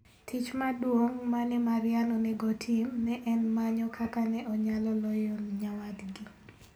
Tich maduong' ma ne Maryann onego otim ne en manyo kaka ne onyalo loyo nyawadgi.